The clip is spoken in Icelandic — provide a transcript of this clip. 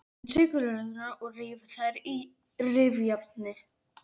Hreinsið gulræturnar og rífið þær á rifjárni.